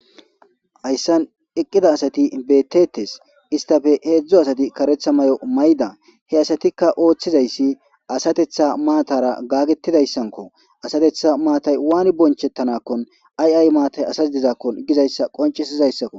Hayssan eqqida asati betetes istafe heedzdzo asati karetha may'o mayda he asatikka ooththizayssi asatetha maatara gaagetidayssanko asatetha maatay waani bonchettanakkon aiay maatay asas dizakkon gizayssa qoncisizayssakko.